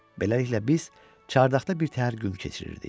Beləliklə biz çardaqda bir təhər gün keçirirdik.